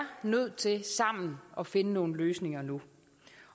nødt til sammen at finde nogle løsninger nu